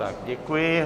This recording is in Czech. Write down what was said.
Tak děkuji.